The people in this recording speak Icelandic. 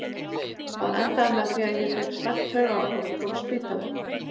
Það endaði með því að ég fékk slæmt taugaáfall og fór á spítala.